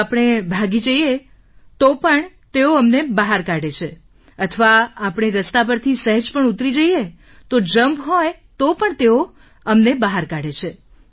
જો આપણે ભાગી જઈએ તો પણ તેઓ અમને બહાર કાઢે છે અથવા આપણે રસ્તા પરથી સહેજ પણ ઉતરી જઈએ તો જમ્પ હોય તો પણ તેઓ અને બહાર કાઢે છે